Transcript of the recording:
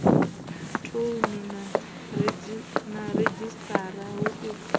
thouni na redzhisiṱara hu u